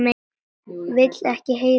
Vil ekki heyra orð þeirra.